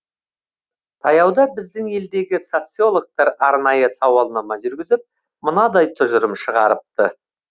таяуда біздің елдегі социологтар арнайы сауалнама жүргізіп мынадай тұжырым шығарыпты